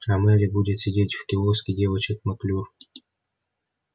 а мелли будет сидеть в киоске девочек маклюр